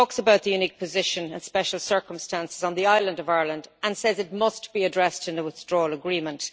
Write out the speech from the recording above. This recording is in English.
It talks about the unique position and special circumstances on the island of Ireland and says it must be addressed in a withdrawal agreement.